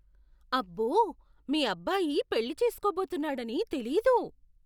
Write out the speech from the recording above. అబ్బో! మీ అబ్బాయి పెళ్లి చేసుకోబోతున్నాడని తెలీదు!